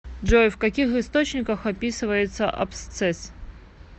джой в каких источниках описывается абсцесс